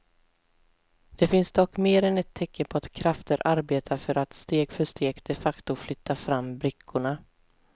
Det finns dock mer än ett tecken på att krafter arbetar för att steg för steg de facto flytta fram brickorna.